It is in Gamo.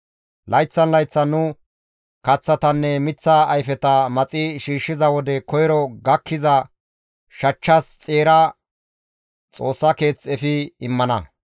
«Layththan layththan nu kaththatanne miththa ayfeta maxi shiishshiza wode koyro gakkiza shachchas xeera Xoossa keeth efi immana.